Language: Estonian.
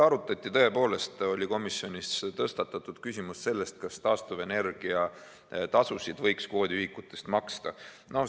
Küll oli komisjonis tõstatatud küsimus, kas taastuvenergia tasusid võiks kvoodiühikutest maksta.